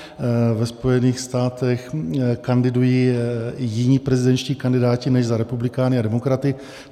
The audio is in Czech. Ve Spojených státech kandidují jiní prezidentští kandidáti než za republikány a demokraty.